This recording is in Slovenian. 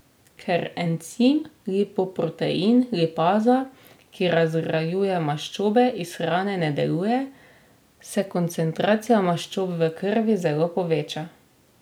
Ker encim lipoprotein lipaza, ki razgrajuje maščobe iz hrane ne deluje, se koncentracija maščob v krvi zelo poveča.